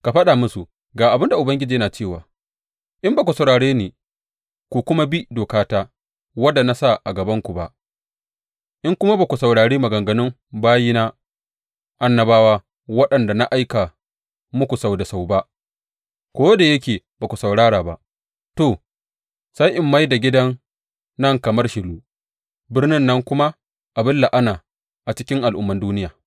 Ka faɗa musu, Ga abin da Ubangiji yana cewa, in ba ku saurare ni, ku kuma bi dokata, wadda na sa a gabanku ba, in kuma ba ku saurari maganganun bayina annabawa, waɗanda na aika muku sau da sau ba ko da yake ba ku saurara ba, to, sai in mai da gidan nan kamar Shilo, birnin nan kuma abin la’ana a cikin al’umman duniya.’